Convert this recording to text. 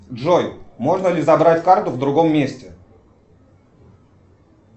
джой можно ли забрать карту в другом месте